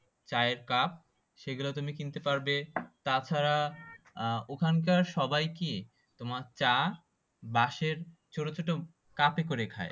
চায়ের কাপ সেগুলো তুমি কিনতে পারবে তাছাড়া আহ ওখানকার সবাই কি তোমার চা বাঁশের ছোট ছোট কাপে করে খাই